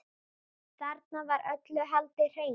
Þarna var öllu haldið hreinu.